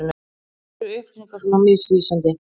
Af hverju er upplýsingar svona misvísandi?